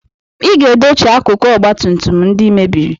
Ị ga-edochi akụkụ ọgba tum tum ndị I mebiri!